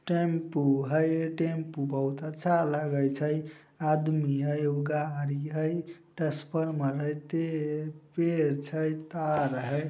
Tempo हेय tempo बहुत अच्छा लगे छै आदमी हेय उ गाड़ी हेय टसफर्मर हेय ते पेड़ छै तार हेय।